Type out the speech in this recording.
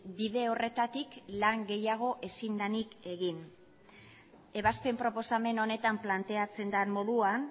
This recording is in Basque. bide horretatik lan gehiago ezin denik egin ebazpen proposamen honetan planteatzen den moduan